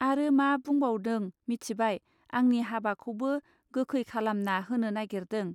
आरो मा बुंबावदों मिथिबाय आंनि हाबाखौबो गोखै खालामना होनो नागिरदों.